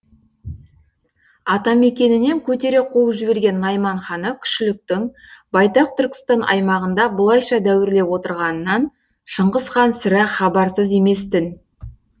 атамекенінен көтере қуып жіберген найман ханы күшіліктің байтақ түркістан аймағында бұлайша дәуірлеп отырғанынан шыңғыс хан сірә хабарсыз еместін